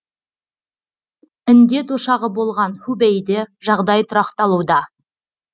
індет ошағы болған хубэйде жағдай тұрақталуда